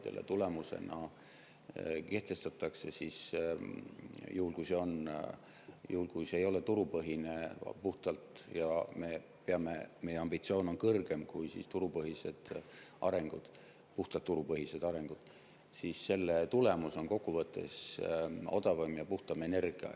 Selle tulemusena, juhul kui see ei ole puhtalt turupõhine – ja meie ambitsioon on kõrgem kui puhtalt turupõhine areng –, kokkuvõttes odavam ja puhtam energia.